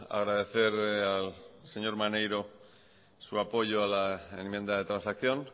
agradecer al señor maneiro su apoyo a la enmienda de transacción